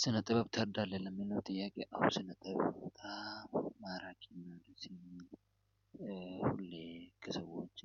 ስነ ጥበብ ትረዳለህ? ለሚለው ጥያቄ አዎ ስነ ጥበብ ማራኪ ሁሌ ከሰዎች